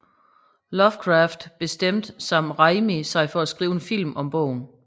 Lovecraft bestemte Sam Raimi sig for at skrive en film om bogen